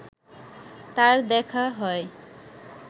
তার দেখা হয়